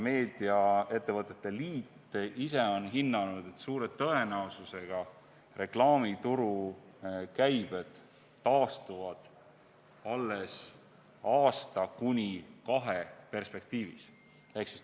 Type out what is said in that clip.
Meediaettevõtete liit ise on hinnanud, et suure tõenäosusega reklaamituru käibed taastuvad alles aasta kuni kahe perspektiivis.